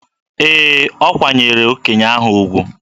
Ee, o kwanyeere okenye ahụ ugwu.